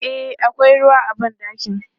E, akwai ruwa a ban ɗakin.